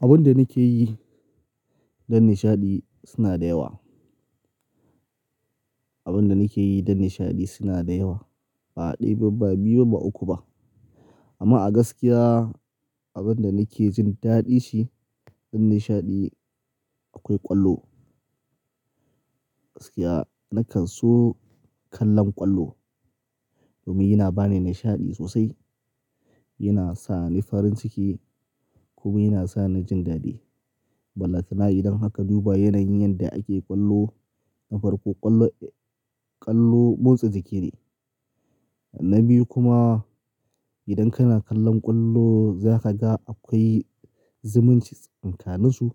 Abun da nake yi don nishaɗi suna da yawa. Abun da nake yi don nishaɗi suna da yawa. Ba ɗaya ba, ba biyu ba, ba uku ba. Amma a gaskiya abin da nake jin daɗi shi don nishaɗi akwai ƙwallo. Gaskiya nakan so kallon ƙwallo domin yana ba ni nishaɗi sosai, yana sa ni farin ciki kuma yana sa ni jin daɗi. Ballatana idan aka duba yanayin yanda ake ƙwallo, na farko ƙwallo, ƙwallo motsa jiki ne. Na biyu kuma idan kana kallon ƙwallo za ka ga akwai zumuncin tsakaninsu,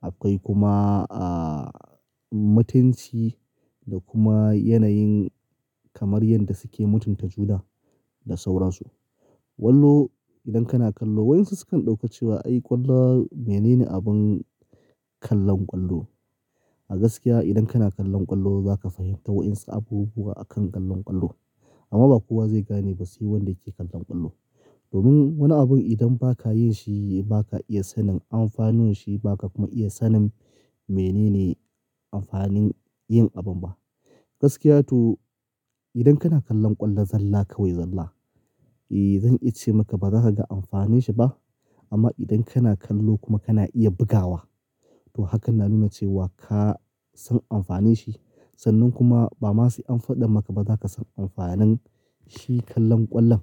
akwai kuma, ah, mutanci, da kuma yanayin kamar yadda suke mutunta juna da sauransu. Kwallo idan kana kallo, waɗansu sukan ɗauka cewa ai ƙwallo mene ne abin kallon ƙwallo. A gaskiya idan kana kallon ƙwallo za ka fahimta waɗansu abubuwa akan kallon ƙwallo. Amma ba kowa zai gane ba, sai wanda yake kallon ƙwallo. Domin wani abun idan ba ka yin shi ba ka iya sanin amfanin shi, ba ka kuma iya sanin mene ne amfanin yin abun ba. Gaskiya to idan kana kallon ƙwallon zalla kawai zalla, eh zan iya ce maka ba za ka ga amfanin shi ba. Amma idan kana kallo, kuma kana iya bugawa to hakan na nuna cewa ka san amfanin shi. Sannan kuma ba ma sai an faɗa maka ba za ka san amfanin shi kallon ƙwallon.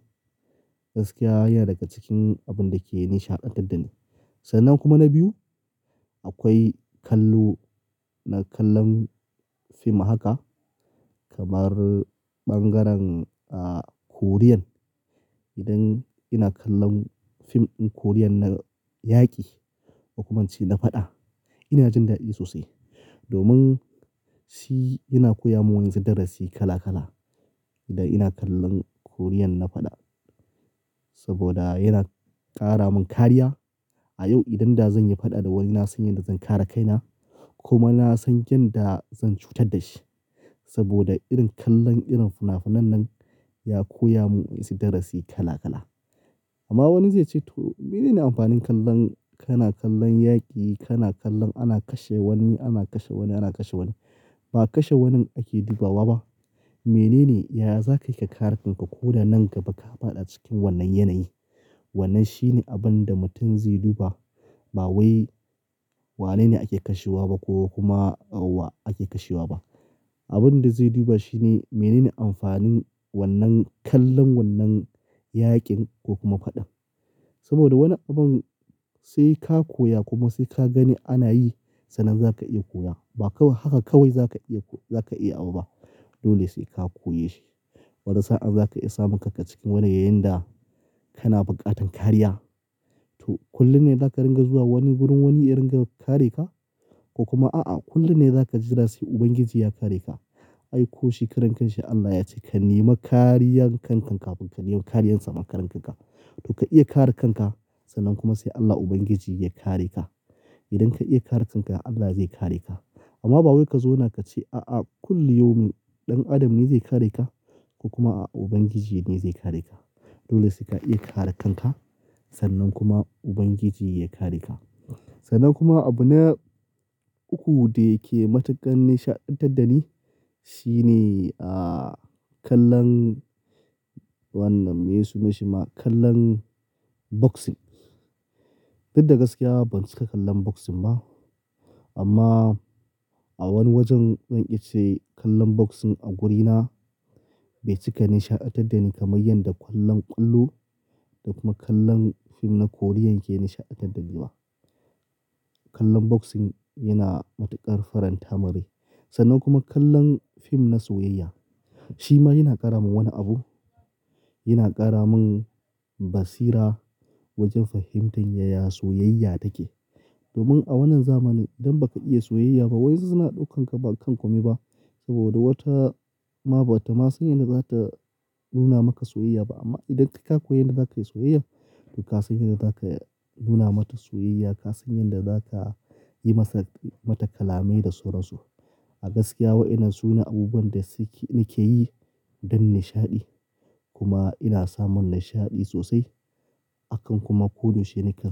Gaskiya yana daga cikin abun da ke nishaɗantar da ni. Sannan kuma na biyu akwai kallo na kallon fim haka kamar ɓangaren, ah, Korean. Idan ina kallon fim ɗin Korean na yaƙi, ko kuma ince da faɗa, ina jin daɗi sosai. Domin, shi yana koya mun wasu darasi kala kala. Idan ina kallon Korean na faɗa saboda yana ƙara mun kariya. A yau idan da zan yi faɗa da wani na san yadda zan kare kaina kuma na san yanda zan cutar da shi. Saboda irin kallon irin finafinan nan ya koya mun wasu darasi kala kala. Amma wani zai ce to mene ne amfanin kallon, kana kallon yaƙi, kana kallon ana kashe wani, ana kashe wani, ana kashe wani. Ba kashe wanin ake dubawa ba. Mene ne, ya za ka yi ka kare kanka koda nan gaba ka faɗa cikin wannan yanayi. Wannan shine abin da mutum zai duba. Ba wai wanene ake kashewa ba ko kuma wa ake kashewa ba. Abin da zai duba shine mene ne amfanin wannan kallon wannan yaƙin ko kuma faɗan. Saboda wani abun, sai ka koya kuma sai ka gani ana yi sannan za ka iya koya. Ba kawai haka kawai za ka iya, za ka iya abu ba. Dole sai ka koye shi. Wata sa'an za ka iya samun kanka cikin wani yayin da kana buƙatan kariya to kullum ne za ka ringa zuwa wani wurin wani ya ringa kare ka? Ko kuma a'a kullum ne za ka ji da rai Ubangiji ya kare ka? Ai ko shi karenkashi Allah ya ce ka nema kariyan kankan kafin ka nema kariyan samakarenkanka. To ka iya kare kanka sannan kuma sai Allah Ubangiji ya kare ka. Idan ka iya kare kanka Allah zai kare ka. Amma ba wai ka zauna ka ce a'a kullum yaaumin, ɗan Adam ne zai kare ka ko kuma a'a Ubangiji ne zai kare ka. Dole sai ka iya kare kanka sannan kuma Ubangiji ya kare ka. Sannan kuma abu na uku da yake matuƙar nishaɗantar da ni shine, ah, kallon wannan me suna shi ma kallon boxing. Fidda gaskiya ban cika kallon boxing ba amma a wani wajen zan iya ce kallon boxing a wurina bai cika nishaɗantar da ni kamar yadda kallon ƙwallo da kuma kallon fim na Korean ke nishaɗantar da ni ba. Kallon boxing yana matuƙar faranta mun rai. Sannan kuma kallon fim na soyayya shi ma yana ƙara mun wani abu. Yana ƙara mun basira wajen fahimtar yaya soyayya take. Domin a wannan zamani, idan ba ka iya soyayya ba, wayansu suna ɗaukan ka bakan kome ba. Saboda wata ma bata ma san yadda za ta nuna maka soyayya ba. Amma idan kai ka koyi yadda za ka yi soyayya to ka san yadda za ka nuna mata soyayya, ka san yadda za ka yi masa, mata kalamai da sauransu. A gaskiya waɗannan sune abubuwan da nake yi, don nishaɗi. Kuma ina samun nishaɗi sosai. Akan kuma koyaushe nakan samu.